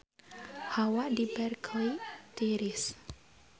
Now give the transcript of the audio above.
Hawa di Berkeley tiris